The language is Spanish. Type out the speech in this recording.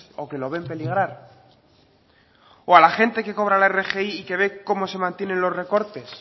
o que lo ven peligrar o a la gente que cobra la rgi y que ve cómo se mantienen los recortes